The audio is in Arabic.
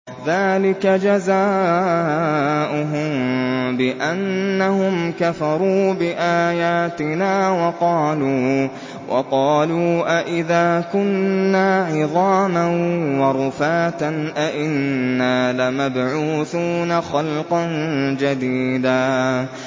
ذَٰلِكَ جَزَاؤُهُم بِأَنَّهُمْ كَفَرُوا بِآيَاتِنَا وَقَالُوا أَإِذَا كُنَّا عِظَامًا وَرُفَاتًا أَإِنَّا لَمَبْعُوثُونَ خَلْقًا جَدِيدًا